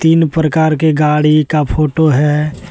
विभिन्न प्रकार के गाड़ी का फोटो हैं।